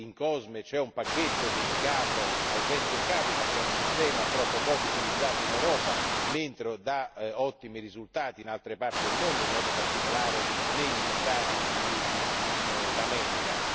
COSME contiene un pacchetto dedicato al venture capital che è un sistema troppo poco utilizzato in Europa, mentre dà ottimi risultati in altre parti del mondo, in modo particolare negli Stati Uniti d'America.